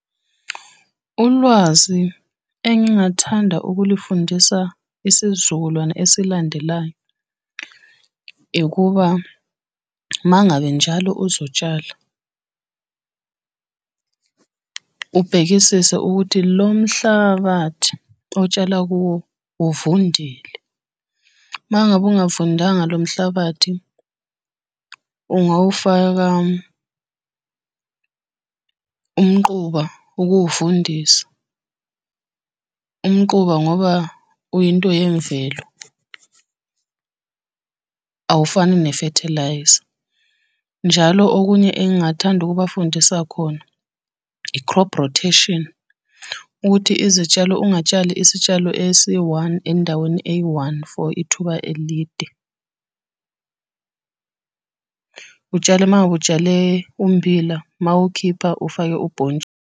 Ulwazi engingathanda ukulifundisa isizukulwane esilandelayo, ukuba uma ngabe njalo uzotshala ubhekisise ukuthi lo mhlabathi otshala kuwo uvundile. Uma ngabe ungavundanga lo mhlabathi, ungawufaka umquba ukuwuvundisa. Umquba ngoba uyinto yemvelo awufani ne-fertiliser. Njalo okunye engathanda ukubafundisa khona, i-crop rotation, ukuthi izitshalo ungatshali isitshalo esi-one endaweni eyi-one, for ithuba elide . Utshale uma ngabe utshale ummbila mawukhipha ufake .